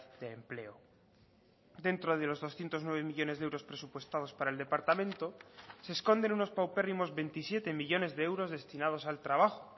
de empleo dentro de los doscientos nueve millónes de euros presupuestados para el departamento se esconden unos paupérrimos veintisiete millónes de euros destinados al trabajo